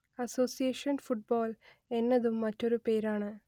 association football എന്നതും മറ്റൊരു പേരാണ്